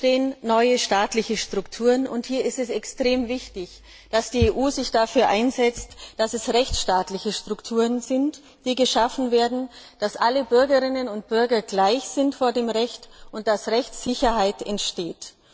Denn es entstehen neue staatliche Strukturen, und hier ist es extrem wichtig, dass die EU sich dafür einsetzt, dass es rechtsstaatliche Strukturen sind, die geschaffen werden, dass alle Bürgerinnen und Bürger vor dem Recht gleich sind und dass Rechtssicherheit entsteht.